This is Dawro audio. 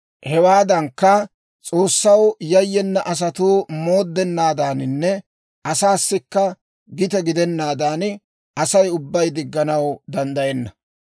Hewaadankka, S'oossaw yayyena asatuu mooddenaadaaninne asaassikka gite gidennaadan, Asay ubbay digganaw danddayenna.